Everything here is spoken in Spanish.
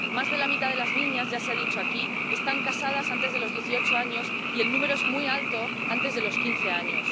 Más de la mitad de las niñas —ya se ha dicho aquí— están casadas antes de los dieciocho años y el número es muy alto antes de los quince años.